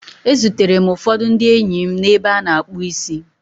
E zutere m ụfọdụ ndị enyi m n'ebe a na-akpụ isi